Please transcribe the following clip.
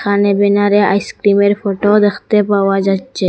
এখানে আইসক্রিমের ফোটো দেখতে পাওয়া যাচ্ছে।